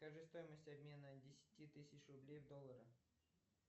скажи стоимость обмена десяти тысяч рублей в доллары